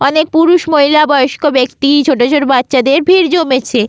অনেক পুরুষ মহিলা বয়স্ক ব্যাক্তি ছোটছোটো বাচ্চাদের ভিড় জমেছে।